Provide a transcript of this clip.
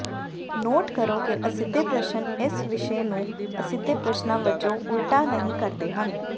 note ਕਰੋ ਕਿ ਅਸਿੱਧੇ ਪ੍ਰਸ਼ਨ ਇਸ ਵਿਸ਼ੇ ਨੂੰ ਅਸਿੱਧੇ ਪ੍ਰਸ਼ਨਾਂ ਵਜੋਂ ਉਲਟਾ ਨਹੀਂ ਕਰਦੇ ਹਨ